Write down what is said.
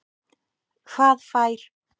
Hvað fær